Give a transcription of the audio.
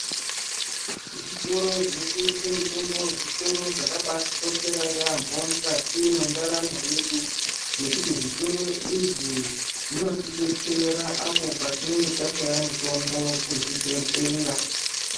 Zvitoro zvinotengese mitombo, zvitoro zvakabatikoshera yaamho mukati mendaramo yedu, nekuti zvitoro izvi zvinotidetsera apo patinenge tashaya mitombo kuzvibhedhleya .